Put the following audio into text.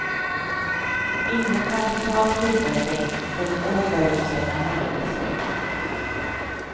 Ingen kan totalt skydda sig från oförutsedda händelser.